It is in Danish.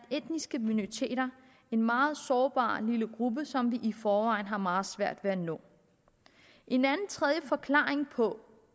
etniske minoriteter en meget sårbar lille gruppe som vi i forvejen har meget svært ved at nå en tredje forklaring på